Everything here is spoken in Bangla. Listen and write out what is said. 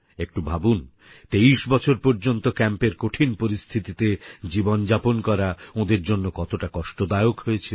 একটু ভাবুন ২৩ বছর পর্যন্ত ক্যাম্পের কঠিন পরিস্থিতিতে জীবন যাপন করা ওঁদের জন্য কতটা কষ্টদায়ক ছিল